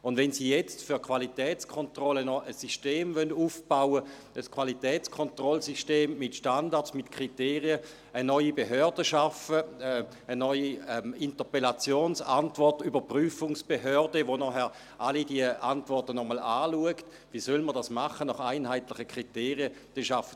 Wenn Sie jetzt für die Qualitätskontrolle noch ein System aufbauen wollen, ein Qualitätskontrollsystem mit Standards, mit Kriterien, eine neue Behörde schaffen wollen, eine neue «Interpellationsantwort-Überprüfungsbehörde», die nachher alle diese Antworten noch einmal anschaut – wie soll man das nach einheitlichen Kriterien machen?